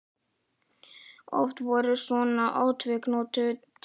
Oft voru svona atvik notuð til að fara á túr.